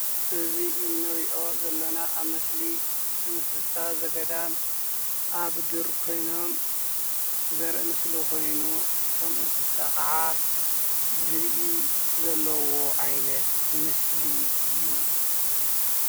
እዚ እንርኦ ዘለና ኣብ ምስሊ እንስሳ ዘገዳም ኣብ ዱር ኮይኖም ዘርኢ ምስሊ ኮይኑ እቶም እንስሳ ክዓ ዝብኢ ዘለውዎ ዓይነት ምስሊ እዩ።